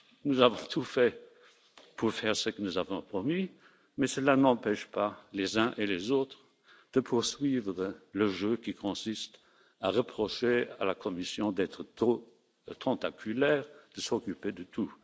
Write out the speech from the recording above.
Nous avons tout fait pour réaliser ce que nous avions promis, mais cela n'empêche pas les uns et les autres de poursuivre le jeu qui consiste à reprocher à la Commission d'être trop tentaculaire, de s'occuper de tout.